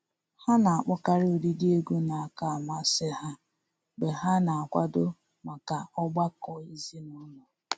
Ha na-akpọkarị ụdịdị egwu na-akacha amasị ha mgbe ha na-akwado maka ọgbakọ ezinụlọ.